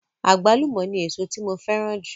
Àgbálùmọ̀ ni èso tí mo fẹ́ràn jù.